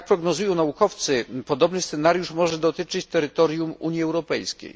Jak prognozują naukowcy, podobny scenariusz może dotyczyć terytorium Unii Europejskiej.